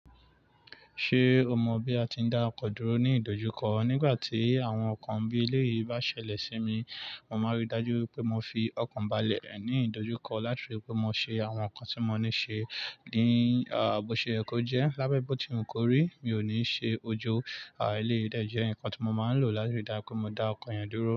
Ṣé o mọ bí a ti ń dá ọkọ dúró ní ìdojúkọ? Nígbà tí àwọn nǹkan bí eléyìí bá ṣẹlẹ̀ sí mi, mo máa rí i dájú pé mo fi ọkàn balẹ̀ ní ìdojúkọ láti fi pé mo ṣe àwọn nǹkan tí mo ní ṣe ní, à, bó ṣe yẹ kó jẹ́. Lábé bó tí wu kò rí, mi ò ní ṣe ojo, à, eléyìí, dẹ̀ jẹ nǹkan tí mo máa ń lò láti dá pé mo dá ọkọ̀ yẹn dúró.